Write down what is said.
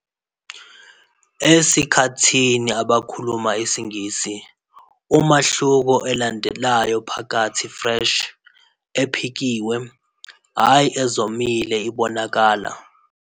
Esikhathini abakhuluma isiNgisi, umahluko elandelayo phakathi "fresh," "ephekiwe," ayi "ezomile" ibonakala.